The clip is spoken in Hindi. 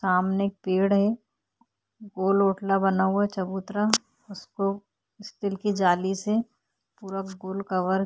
सामने एक पेड़ है गोल कोटा बना हुआ चबूतरा उसको स्टील की जाली से पूरा कवर --